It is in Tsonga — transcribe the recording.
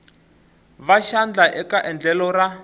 va xandla eka endlelo ra